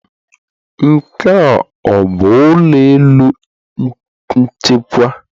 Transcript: Nke, ọ bụ ụlọ elu nchịkwa?